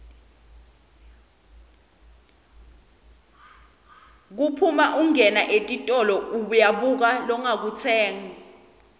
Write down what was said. kuphuma ungena etitolo uyabuka longakutsenga